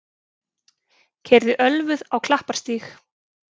Keyrði ölvuð á Klapparstíg